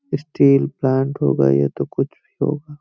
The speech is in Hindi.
स्टील प्लांट होगा या तो कुछ होगा।